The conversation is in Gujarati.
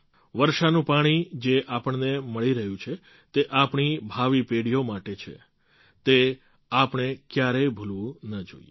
વર્ષાનું પાણી જે આપણને મળી રહ્યું છે તે આપણી ભાવિ પેઢીઓ માટે છે તે આપણે ક્યારેય ભૂલવું ન જોઈએ